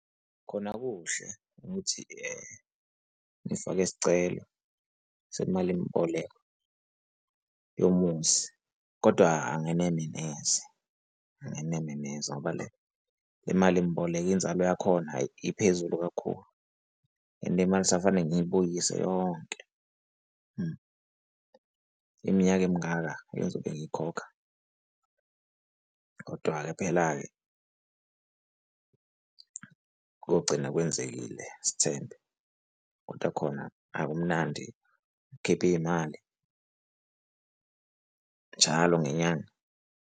Khona kuhle ukuthi ngifake isicelo semalimboleko yomuzi, kodwa angeneme neze, angeneme neze. Ngoba le, le malimboleko inzalo yakhona, hhayi iphezulu kakhulu, and imali kusafanele ngiyibuyise yonke iminyaka emingaka engizobe ngiyikhokha. Kodwa-ke phela-ke kogcina kwenzekile sithembe, kodwa khona akumnandi ukukhipha iy'mali njalo ngenyanga.